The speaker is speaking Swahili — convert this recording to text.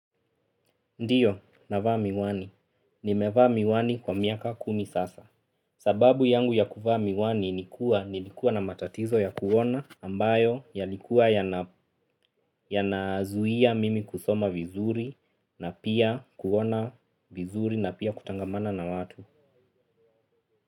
Ndio, navaa miwani. Nimevaa miwani kwa miaka kumi sasa. Sababu yangu ya kuvaa miwani nilikuwa na matatizo ya kuona ambayo ya likuwa ya nazuia mimi kusoma vizuri na pia kuona vizuri na pia kutangamana na watu.